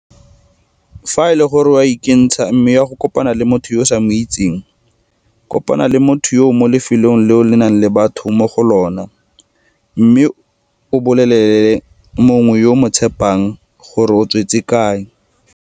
Fa e le gore o a ikentsha mme o ya go kopana le motho yo o sa mo itseng, kopana le motho yoo mo lefelong leo go nang le batho mo go lona mme o bolelele mongwe yo o mo tshepang gore o tswetse kae.